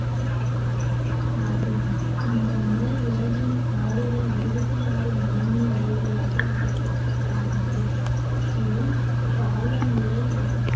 ஆகும் இந்த முறை உலகில் காடுகள் இருபத்தி ஆறு முதன்மை வகைகளாக வகைப்படுத்தப்படுகின்றது இது காலநிலை வ~